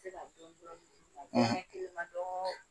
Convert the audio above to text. U bɛ se ka ma dɔn